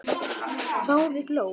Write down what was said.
Þáði glöð.